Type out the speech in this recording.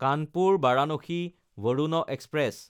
কানপুৰ–ভাৰানাচি Varuna express